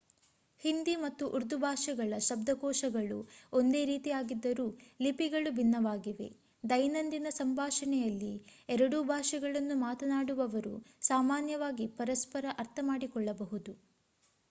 ಹಿಂದಿ ಮತ್ತು ಉರ್ದು ಭಾಷೆಗಳ ಶಬ್ದಕೋಶಗಳು ಒಂದೇ ರೀತಿಯಾಗಿದ್ದರೂ ಲಿಪಿಗಳು ಭಿನ್ನವಾಗಿವೆ ದೈನಂದಿನ ಸಂಭಾಷಣೆಯಲ್ಲಿ ಎರಡೂ ಭಾಷೆಗಳನ್ನು ಮಾತನಾಡುವವರು ಸಾಮಾನ್ಯವಾಗಿ ಪರಸ್ಪರ ಅರ್ಥಮಾಡಿಕೊಳ್ಳಬಹುದು